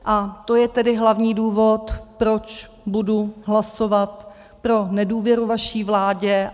A to je tedy hlavní důvod, proč budu hlasovat pro nedůvěru vaší vládě.